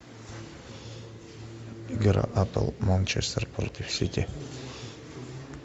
игра апл манчестер против сити